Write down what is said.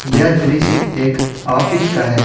यह दृश्य एक ऑफिस का है।